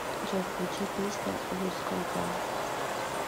джой включи песня луз контрол